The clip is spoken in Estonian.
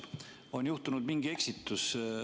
On juhtunud mingi eksitus.